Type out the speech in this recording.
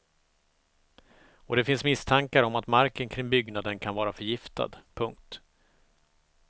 Och det finns misstankar om att marken kring byggnaden kan vara förgiftad. punkt